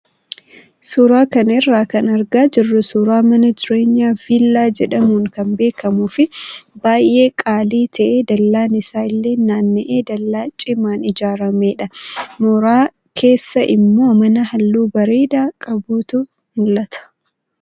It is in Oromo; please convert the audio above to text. Suuraa kana irraa kan argaa jirru suuraa mana jireenyaa viillaa jedhamuun kan beekamuu fi baay'ee qaalii ta'ee dallaan isaa illee naanna'ee dallaa cimaan ijaaramedha. Mooraa keessa immoo mana halluu bareedaa qabutu mul'ata.